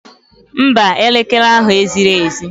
Mba, elekere ahụ ezighi ezi.